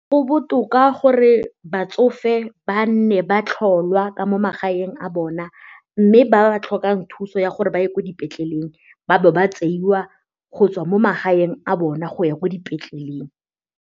Go botoka gore batsofe ba nne ba tlholwa ka mo magaeng a bona mme ba tlhokang thuso ya gore ba ye ko dipetleleng ba ba ba tseiwa go tswa mo magaeng a bona go ya ko dipetleleng.